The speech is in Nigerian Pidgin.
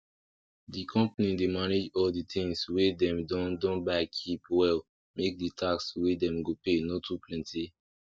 the company dey manage all the things wey dem don don buy keep well make the task wey dem go pay no too plenty